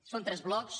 són tres blocs